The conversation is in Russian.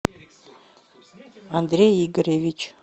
андрей игоревич